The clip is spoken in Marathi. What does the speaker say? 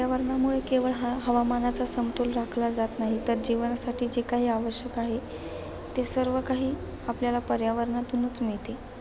पर्यावरणामुळे केवळ हवामानाच समतोल राखला जात नाही, तर जीवनासाठी जे काही आवश्यक आहे, ते सर्व काही आपल्याला पर्यावरणातून मिळते.